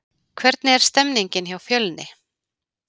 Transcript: Hvernig er stemningin hjá Fjölni?